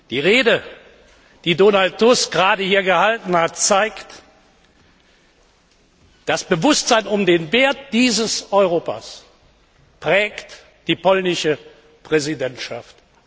Die Rede, die Donald Tusk gerade hier gehalten hat, zeigt Das Bewusstsein um den Wert dieses Europas prägt die polnische Präsidentschaft.